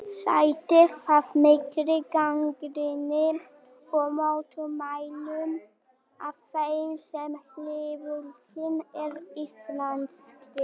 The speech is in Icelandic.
Sætti það mikilli gagnrýni og mótmælum af þeim sem hliðhollir eru Ísraelsríki.